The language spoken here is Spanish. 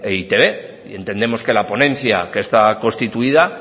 en e i te be y entendemos que la ponencia que está constituida